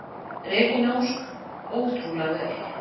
Regína Ósk: Ótrúlega vel.